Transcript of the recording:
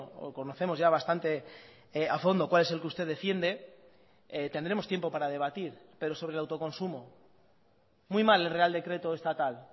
o conocemos ya bastante a fondo cuál es el que usted defiende tendremos tiempo para debatir pero sobre el autoconsumo muy mal el real decreto estatal